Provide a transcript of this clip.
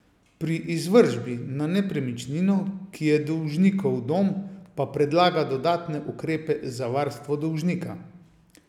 Pri izvršbi na nepremičnino, ki je dolžnikov dom, pa predlaga dodatne ukrepe za varstvo dolžnika.